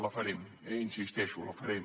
la farem eh hi insisteixo la farem